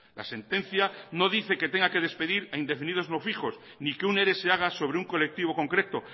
la sentencia no dice que tenga que despedir a indefinidos no fijos ni que un ere sea haga sobre un colectivo concreto